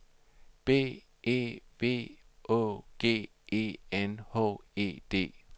B E V Å G E N H E D